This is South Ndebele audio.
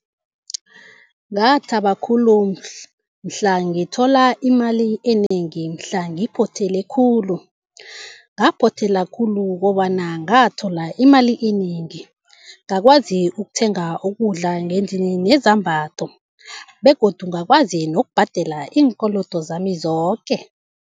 Ngathaba khulu mhla ngithola imali enengi mhla ngiphothela khulu. Ngaphothela khulu kobana ngathola imali enengi ngakwazi ukuthenga ukudla ngendlini nezambatho begodu ngakwazi nokubhadela iinkolodo zami zoke.